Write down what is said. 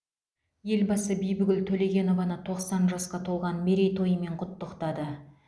елбасы бибігүл төлегенованы тоқсан жасқа толған мерейтойымен құттықтады